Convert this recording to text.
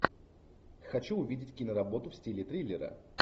хочу увидеть киноработу в стиле триллера